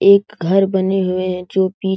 एक घर बने हुए हैं जो पी --